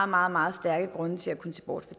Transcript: meget meget stærke grunde til at kunne se bort